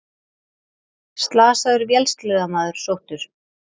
Slasaður vélsleðamaður sóttur